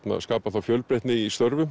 skapar þá fjölbreytni í störfum